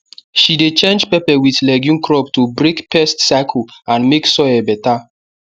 she dey change pepper with legume crop to break pest circle and make soil better